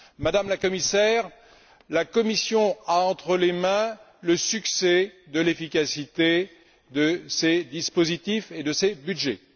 Madame la Commissaire, la Commission a entre les mains le succès de l'efficacité de ces dispositifs et de ces budgets.